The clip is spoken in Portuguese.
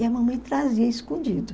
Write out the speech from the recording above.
E a mamãe trazia escondido.